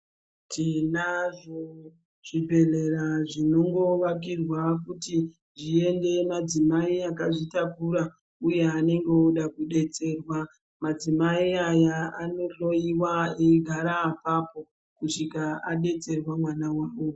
Tinazvo zvibhedhlera zvinongovakirwa kuti zviende madzimai akazvitakura uye anenge oda kudetserwa. Madzimai aya inohloyiwa eigara apapo kusvika adetserwa mwana wavo.